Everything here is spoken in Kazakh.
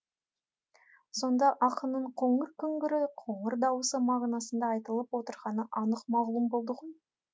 сонда ақынның қоңыр күңгірі қоңыр дауыс мағынасында айтылып отырғаны анық мағлұм болды ғой